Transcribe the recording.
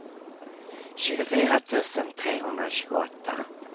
tjugofyra tusen trehundratjugoåtta